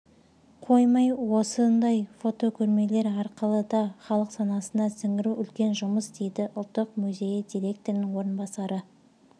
қоймай осындай фотокөрмелер арқылы да халық санасына сіңіру үлкен жұмыс дейді ұлттық музейі директорының орынбасары